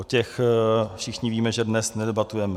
O těch všichni víme, že dnes nedebatujeme.